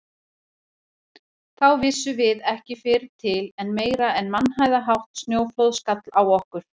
Þá vissum við ekki fyrr til en meira en mannhæðarhátt snjóflóð skall á okkur.